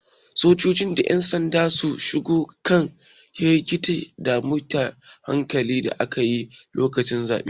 Sojoji da yan sanda sun shawo kan hargitsi da tashin hankalin da aka yi lokacin zaɓe.